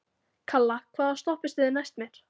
Kalla, hvaða stoppistöð er næst mér?